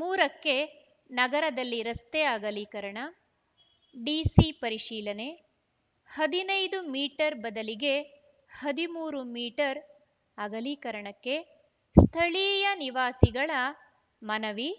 ಮೂರಕ್ಕೆನಗರದಲ್ಲಿ ರಸ್ತೆ ಅಗಲೀಕರಣ ಡಿಸಿ ಪರಿಶೀಲನೆ ಹದಿನೈದು ಮೀಟರ್‌ ಬದಲಿಗೆ ಹದಿಮೂರು ಮೀಟರ್ ಅಗಲೀಕರಣಕ್ಕೆ ಸ್ಥಳೀಯ ನಿವಾಸಿಗಳ ಮನವಿ